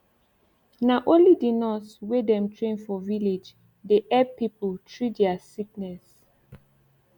na onli d nurse wey dem train for village cliydey epp pipu trea dia sickness